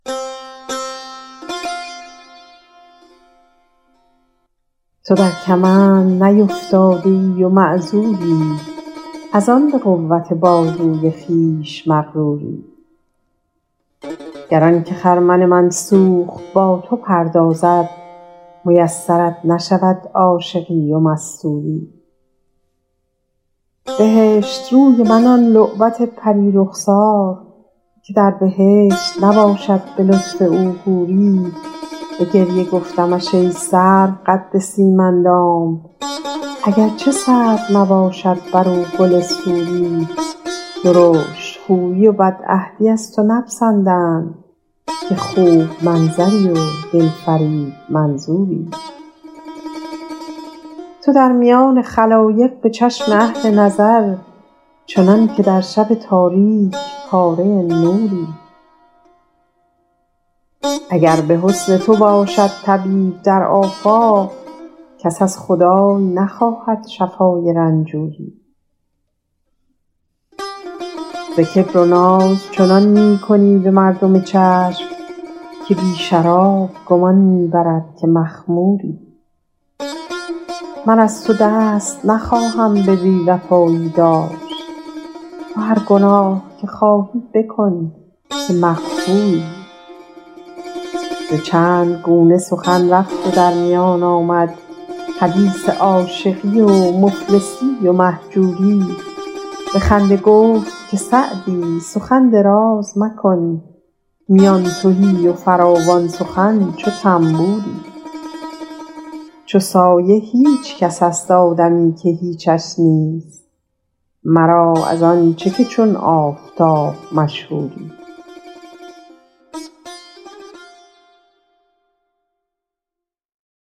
تو در کمند نیفتاده ای و معذوری از آن به قوت بازوی خویش مغروری گر آن که خرمن من سوخت با تو پردازد میسرت نشود عاشقی و مستوری بهشت روی من آن لعبت پری رخسار که در بهشت نباشد به لطف او حوری به گریه گفتمش ای سرو قد سیم اندام اگر چه سرو نباشد بر او گل سوری درشت خویی و بدعهدی از تو نپسندند که خوب منظری و دل فریب منظوری تو در میان خلایق به چشم اهل نظر چنان که در شب تاریک پاره نوری اگر به حسن تو باشد طبیب در آفاق کس از خدای نخواهد شفای رنجوری ز کبر و ناز چنان می کنی به مردم چشم که بی شراب گمان می برد که مخموری من از تو دست نخواهم به بی وفایی داشت تو هر گناه که خواهی بکن که مغفوری ز چند گونه سخن رفت و در میان آمد حدیث عاشقی و مفلسی و مهجوری به خنده گفت که سعدی سخن دراز مکن میان تهی و فراوان سخن چو طنبوری چو سایه هیچ کس است آدمی که هیچش نیست مرا از این چه که چون آفتاب مشهوری